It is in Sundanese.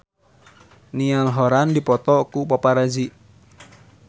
Niall Horran dipoto ku paparazi